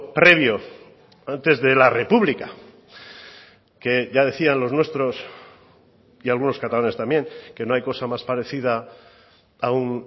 previo antes de la republica que ya decían los nuestros y algunos catalanes también que no hay cosa más parecida a un